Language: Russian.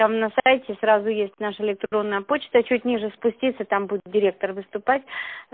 там на сайте сразу есть наша электронная почта чуть ниже спуститься там будет директор выступать